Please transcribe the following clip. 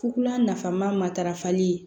Fugula nafama matarafali